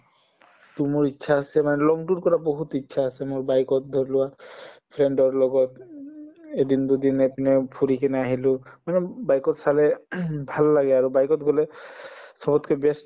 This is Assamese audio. to মোৰ ইচ্ছা আছে মানে কৰা বহুত ইচ্ছা আছে মোৰ bike ত ধৰিলোৱা friend ৰ লগত উম এদিন দুদিন এইপিনে ফুৰি কিনে আহিলো bike ত চালে ভাল লাগে আৰু bike ত গলে চবতকে best